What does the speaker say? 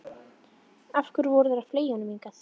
Af hverju voru þeir að fleygja honum hingað inn.